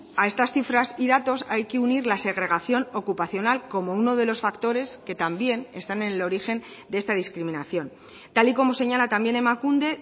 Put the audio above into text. a estas cifras y datos hay que unir la segregación ocupacional como uno de los factores que también están en el origen de esta discriminación tal y como señala también emakunde